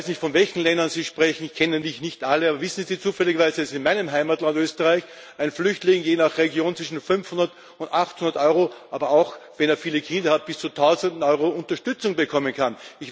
Ich weiß nicht, von welchen Ländern Sie sprechen ich kenne nämlich nicht alle aber wissen Sie zufälligerweise, dass in meinem Heimatland Österreich ein Flüchtling je nach Region zwischen 500 und 800 EUR, aber auch wenn er viele Kinder hat bis zu 1000 EUR Unterstützung bekommen kann?